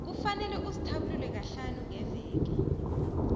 kufanele uzithabulule kahlanu ngeveke